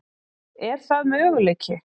Er það möguleiki?